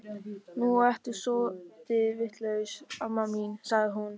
Nú ertu soldið vitlaus, amma mín, sagði hún.